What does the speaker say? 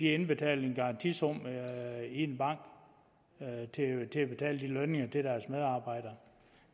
indbetale en garantisum i en bank til at betale lønningerne til deres medarbejdere